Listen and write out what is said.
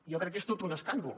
jo crec que és tot un escàndol